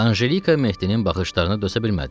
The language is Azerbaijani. Anjelika Mehdinin baxışlarını dözə bilmədi.